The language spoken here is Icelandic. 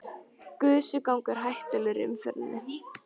Gusugangur hættulegur í umferðinni